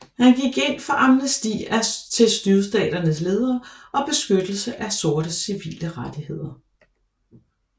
Han gik ind for amnesti til Sydstaternes ledere og beskyttelse af sortes civile rettigheder